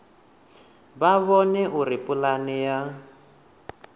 vha vhone uri pulane ya